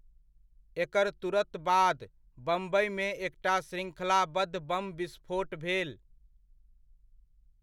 एकर तुरत बाद बम्बइमे एकटा शृङ्खलाबद्ध बम विस्फोट भेल।